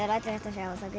þangað